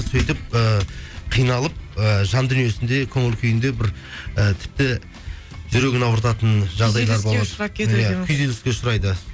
сөйтіп ііі қиналып і жан дүниесінде көңіл күйінде бір і тіпті жүрегін ауыртатын күйзеліске ұшырайды